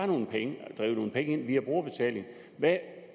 nogle penge ind via brugerbetaling